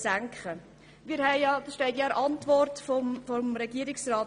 Es steht in der Antwort des Regierungsrats: